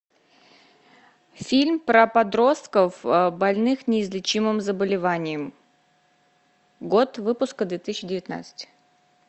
фильм про подростков больных неизлечимым заболеванием год выпуска две тысячи девятнадцать